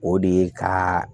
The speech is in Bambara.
O de ye ka